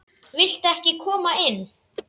Viltu ekki koma inn?